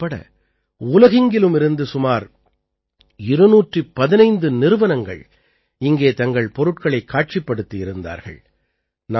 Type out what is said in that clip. பாரதம் உட்பட உலகெங்கிலுமிருந்து சுமார் 215 நிறுவனங்கள் இங்கே தங்கள் பொருட்களைக் காட்சிப்படுத்தியிருந்தார்கள்